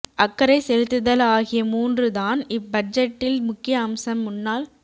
அக்கறை செலுத்துதல் ஆகிய மூன்று தான் இப் பட்ஜெட்டின் முக்கிய அம்சம் முன்னாள்